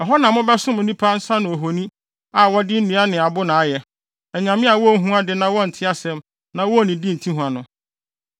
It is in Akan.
Ɛhɔ na mobɛsom onipa nsa ano ahoni a wɔde nnua ne abo na ayɛ, anyame a wonhu ade na wɔnte asɛm na wonnidi nte hua no.